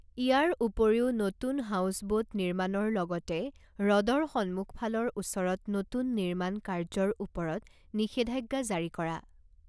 ইয়াৰ উপৰিও, নতুন houseboat নিৰ্মাণৰ লগতে হ্ৰদৰ সন্মুখফালৰ ওচৰত নতুন নিৰ্মাণ কাৰ্যৰ ওপৰত নিষেধাজ্ঞা জাৰি কৰা।